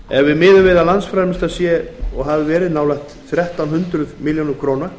ef miðað er við að landsframleiðsla sé nálægt þrettán hundruð milljörðum króna